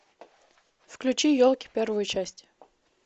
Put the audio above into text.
включи елки первую часть